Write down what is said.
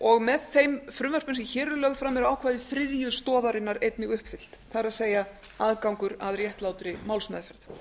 og með þeim frumvörpum sem hér eru lögð fram eru ákvæði þriðju stoðarinnar einnig uppfyllt það er aðgangur að réttlátri málsmeðferð